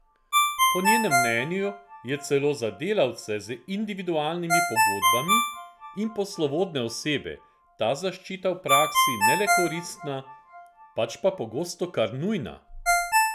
Po njenem mnenju je celo za delavce z individualnimi pogodbami in poslovodne osebe ta zaščita v praksi ne le koristna, pač pa pogosto kar nujna!